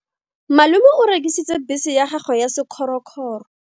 Malome o rekisitse bese ya gagwe ya sekgorokgoro.